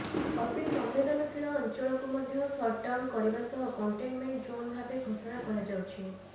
ଅତି ସମ୍ବେଦନଶୀଳ ଅଞ୍ଚଳକୁ ମଧ୍ୟ ସଟଡ଼ାଉନ କରିବା ସହ କଣ୍ଟେନମେଣ୍ଟ ଜୋନ ଭାବେ ଘୋଷଣା କରାଯାଉଛି